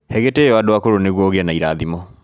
He gĩtĩo andũ akũrũ nĩguo ũgĩe irathimo